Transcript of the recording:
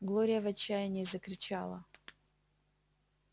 глория в отчаянии закричала